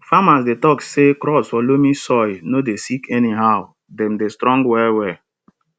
farmers dey talk say crops for loamy soil no dey sick anyhow dem dey strong well well